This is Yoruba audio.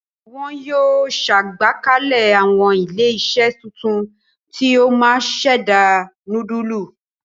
Wọn yóò ṣàgbékalẹ̀ àwọn ilé-iṣẹ́ tuntun tí yóò máa ṣẹ̀dá núdúlù.